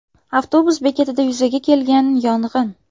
Avtobus bekatida yuzaga kelgan yong‘in.